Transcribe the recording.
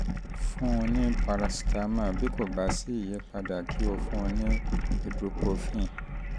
um jọ̀wọ́ um fún um un ní paracetamol bí kò bá sí àyípadà kí o fún un ní ibuprofen